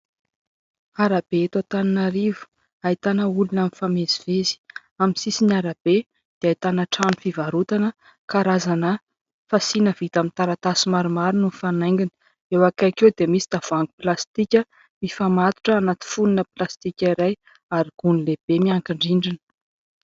Arabe eto Antananarivo ahitana olona mifamezivezy, amin'ny sisin' arabe dia ahitana trano fivarotana karazana fasiana vita amin'ny taratasy maromaro no mifanaingina, eo akaiky eo dia misy tavoahangy plastika mifamatotra anaty fonony plastika iray ary gony lehibe miankin-drindrina.